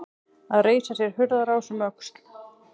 Að reisa sér hurðarás um öxl